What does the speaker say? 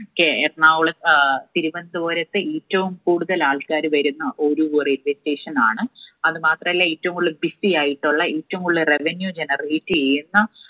K Ernakulam ഏർ തിരുവനന്തപുരത്ത് ഏറ്റവും കൂടുതൽ ആൾക്കാര് വരുന്ന ഒരു orientation ആണ് അത് മാത്രല്ല ഏറ്റും കൂടുതല് busy ആയിട്ടുള്ള എറ്റും കൂടുതല് revenue എയ്യുന്ന